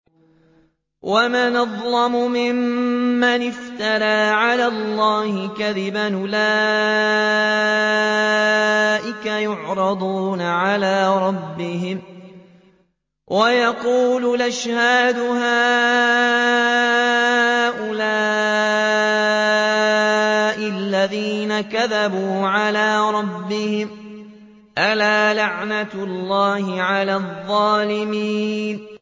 وَمَنْ أَظْلَمُ مِمَّنِ افْتَرَىٰ عَلَى اللَّهِ كَذِبًا ۚ أُولَٰئِكَ يُعْرَضُونَ عَلَىٰ رَبِّهِمْ وَيَقُولُ الْأَشْهَادُ هَٰؤُلَاءِ الَّذِينَ كَذَبُوا عَلَىٰ رَبِّهِمْ ۚ أَلَا لَعْنَةُ اللَّهِ عَلَى الظَّالِمِينَ